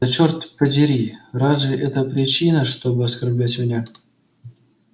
да чёрт подери разве это причина чтобы оскорблять меня